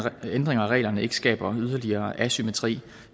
ændringer af reglerne ikke skaber yderligere asymmetri